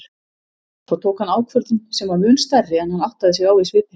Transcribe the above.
Svo hann tók ákvörðun sem var mun stærri en hann áttaði sig á í svipinn.